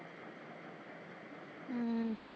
ਹਮ